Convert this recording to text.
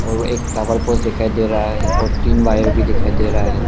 और एक tower post दिखाई दे रहा है और तीन वायर भी दिखाई दे रहा है